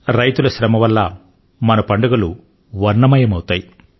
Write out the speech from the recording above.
రైతుల శ్రమ వల్ల మన పండుగలు వర్ణమయమవుతాయి